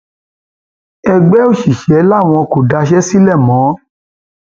ẹgbẹ òṣìṣẹ làwọn kò daṣẹ sílẹ mọ